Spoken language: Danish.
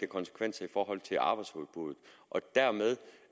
konsekvenser i forhold til arbejdsudbuddet og dermed